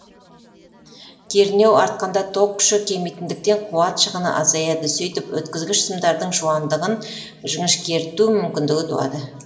кернеу артқанда ток күші кемитіндіктен қуат шығыны азаяды сөйтіп өткізгіш сымдардың жуандығын жіңішкерту мүмкіндігі туады